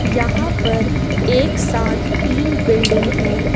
यहां पर एक साथ तीन बिल्डिंग है।